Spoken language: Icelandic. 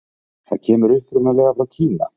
Það kemur upprunalega frá Kína.